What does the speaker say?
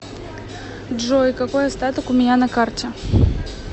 джой какой остаток у меня на карте